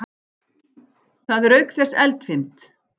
Það er auk þess eldfimt.